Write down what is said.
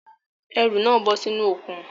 Ẹrù náà bọ́ sínú òkun